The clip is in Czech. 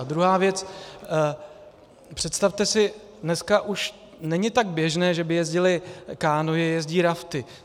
A druhá věc, představte si, dneska už není tak běžné, že by jezdily kánoe, jezdí rafty.